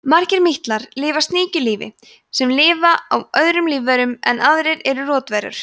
margir mítlar lifa sníkjulífi sem lifa á öðrum lífverum en aðrir eru rotverur